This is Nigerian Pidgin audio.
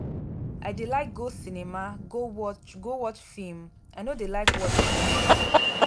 i dey like go cinema go watch go watch film i no dey like watch for house.